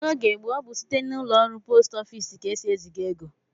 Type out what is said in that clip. N'oge gboo, ọ bụ site n'ụlọọrụ post ofiisi ka e si eziga ego